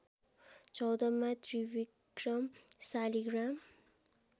चौधमा त्रिविक्रम शालिग्राम